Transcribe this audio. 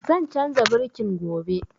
Zan canza birkin gobe